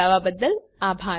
જોડાવા બદ્દલ આભાર